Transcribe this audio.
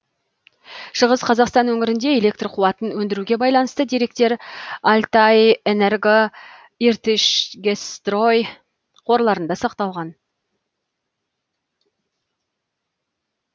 шығыс қазақстан өңірінде электр қуатын өндіруге байланысты деректер алтайэнерго иртышгэсстрой қорларында сақталған